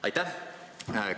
Aitäh!